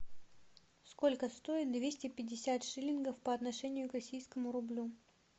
сколько стоит двести пятьдесят шиллингов по отношению к российскому рублю